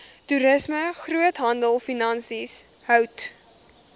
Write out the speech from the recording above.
toerisme groothandelfinansies hout